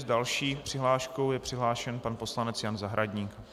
S další přihláškou je přihlášen pan poslanec Jan Zahradník.